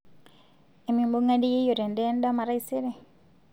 emibungare yieyio teendaa edama taisere